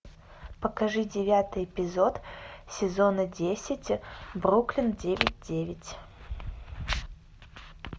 покажи девятый эпизод сезона десять бруклин девять девять